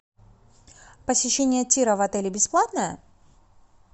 посещение тира в отеле бесплатное